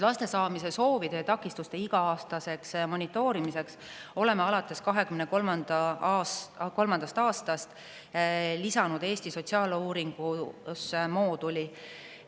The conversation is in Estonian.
Laste saamise soovide ja takistuste iga-aastaseks monitoorimiseks lisasime 2023. aastal Eesti sotsiaaluuringusse mooduli.